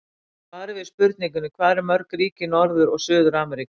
Í svari við spurningunni Hvað eru mörg ríki í Norður- og Suður-Ameríku?